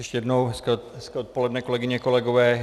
Ještě jednou hezké odpoledne, kolegyně, kolegové.